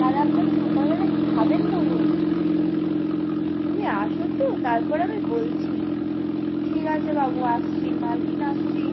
কাল আপনারা সকাল বেলা কি খাবেন বলুন? তুমি আসতো তার পর আমি বলছি ঠিক আছে বাবু আসছি মালকিন আসছি